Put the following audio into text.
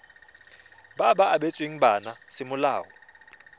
ba ba abetsweng bana semolao